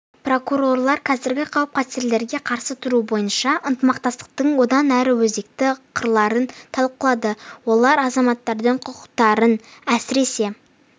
прокурорлар қазіргі қауіп-қатерлерге қарсы тұру бойынша ынтымақтастықтың одан әрі өзекті қырларын талқылады олар азаматтардың құқықтарын әсіресе